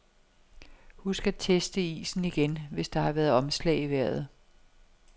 Husk at teste isen igen, hvis der har været omslag i vejret.